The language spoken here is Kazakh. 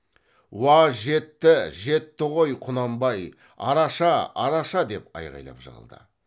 уа жетті жетті ғой құнанбай араша араша деп айғайлап жығылды